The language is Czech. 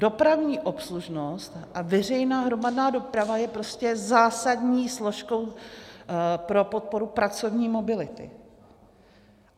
Dopravní obslužnost a veřejná hromadná doprava je prostě zásadní složkou pro podporu pracovní mobility.